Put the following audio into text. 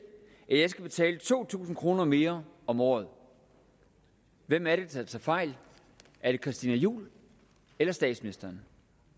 at jeg skal betale to tusind kroner mere om året hvem er det der tager fejl er det christina juhl eller statsministeren